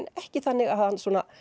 ekki þannig að hann